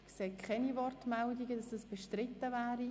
– Ich sehe keine Wortmeldungen, wonach es bestritten wäre.